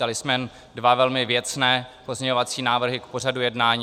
Dali jsme dva velmi věcné pozměňovací návrhy k pořadu jednání.